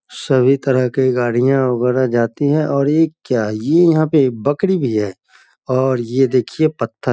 सभी तरह के गाड़ियाँ वगेरह जाती हैं और ये क्या ! ये यहाँ पे बकरी भी हैं और ये देखिए पत्थर --